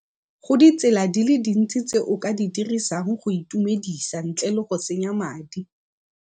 Go ditsela di le dintsi tse o ka di dirisang go itumedisa ntle le go senya madi.